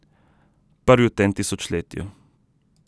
Prvi v tem tisočletju.